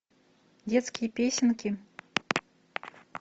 детские песенки